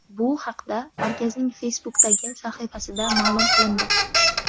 Bu haqda markazning Facebook’dagi sahifasida ma’lum qilindi .